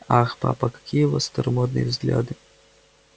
ах папа какие у вас старомодные взгляды